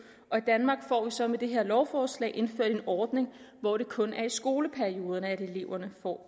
og vi så med det her lovforslag indført en ordning hvor det kun er i skoleperioderne eleverne får